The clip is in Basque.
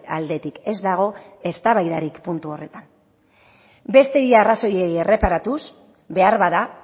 aldetik ez dago eztabaidarik puntu horretan besteen arrazoiei erreparatuz beharbada